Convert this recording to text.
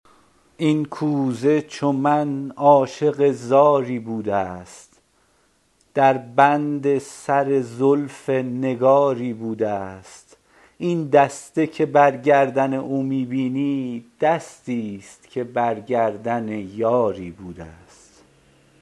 این کوزه چو من عاشق زاری بوده است در بند سر زلف نگاری بوده است این دسته که بر گردن او می بینی دستی ست که بر گردن یاری بوده است